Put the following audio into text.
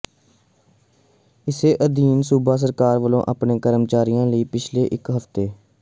ਇਸੇ ਅਧੀਨ ਸੂਬਾ ਸਰਕਾਰ ਵਲੋਂ ਆਪਣੇ ਕਰਮਚਾਰੀਆਂ ਲਈ ਪਿਛਲੇ ਇੱਕ ਹਫ਼ਤੇ